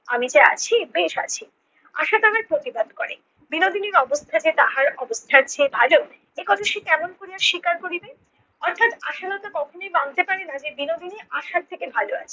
আমি যে আছি বেশ আছি। আশা তাহার প্রতিবাদ করে বিনোদিনীর অবস্থা যে তাহার অবস্থার চেয়ে ভালো একথা সে কেমন কোরিয়া স্বীকার করিবে? অর্থাৎ আশালতা কখনোই মানতে পারে না যে বিনোদিনী আশার থেকে ভালো আছে। বিনোদিনী